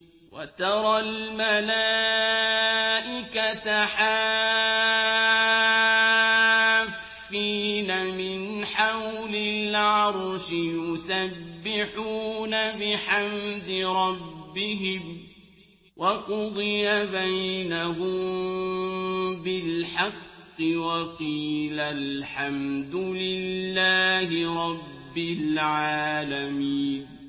وَتَرَى الْمَلَائِكَةَ حَافِّينَ مِنْ حَوْلِ الْعَرْشِ يُسَبِّحُونَ بِحَمْدِ رَبِّهِمْ ۖ وَقُضِيَ بَيْنَهُم بِالْحَقِّ وَقِيلَ الْحَمْدُ لِلَّهِ رَبِّ الْعَالَمِينَ